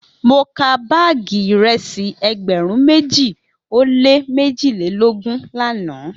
Mo ka baagi iresi egberun meji o le mejilelogun lana